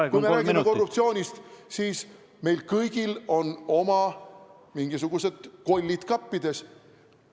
Nii et kui me räägime korruptsioonist, siis meil kõigil on oma mingisugused kollid kappides.